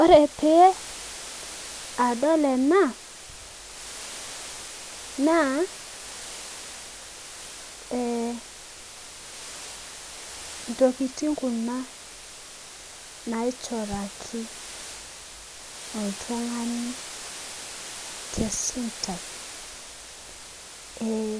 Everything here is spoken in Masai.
Ore pee adol ena, naa ee ntokitin Kuna naishoraki oltungani tesuntai.ee